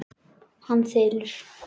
Hann þylur: